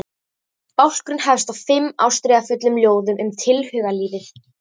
Bálkurinn hefst á fimm ástríðufullum ljóðum um tilhugalífið.